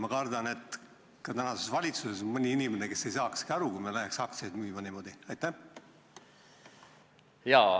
Ma kardan, et ka tänases valitsuses on mõni inimene, kes ei saakski asjast aru, kui me läheks aktsiaid niimoodi müüma.